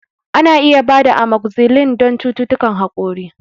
Ana iya ba da Amokzisilin don cututtukan haƙori